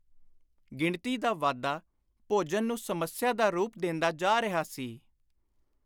ਗਿਣਤੀ ਦਾ ਵਾਧਾ ਭੋਜਨ ਨੂੰ ਸਮੱਸਿਆ ਦਾ ਰੂਪ ਦੇਂਦਾ ਜਾ ਰਿਹਾ ਸੀ।